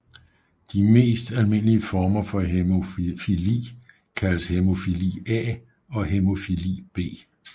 De mest almindelige former for hæmofili kaldes hæmofili A og hæmofili B